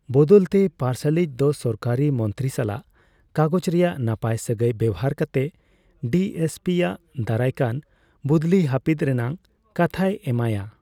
ᱵᱚᱫᱚᱞ ᱛᱮ ᱯᱟᱨᱥᱟᱞᱤᱡ ᱫᱚ ᱥᱚᱨᱠᱟᱨᱤ ᱢᱚᱱᱛᱨᱤ ᱥᱟᱞᱟᱜ ᱠᱟᱜᱚᱡ ᱨᱮᱱᱟᱜ ᱱᱟᱯᱟᱭ ᱥᱟᱹᱜᱟᱹᱭ ᱵᱮᱣᱦᱟᱨ ᱠᱟᱛᱮᱫ ᱰᱤ ᱮᱥ ᱯᱤ ᱟᱜ ᱫᱟᱨᱟᱭ ᱠᱟᱱ ᱵᱩᱫᱞᱤ ᱦᱟᱹᱯᱤᱫ ᱨᱮᱱᱟᱜ ᱠᱟᱛᱷᱟᱭ ᱮᱢᱟᱭᱼᱟ ᱾